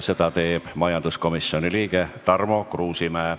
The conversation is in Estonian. Selle teeb majanduskomisjoni liige Tarmo Kruusimäe.